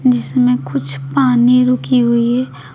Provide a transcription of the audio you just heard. जिसमें कुछ पानी रुकी हुई है।